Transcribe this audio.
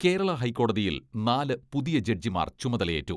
കേരള ഹൈക്കോടതിയിൽ നാല് പുതിയ ജഡ്ജിമാർ ചുമതലയേറ്റു.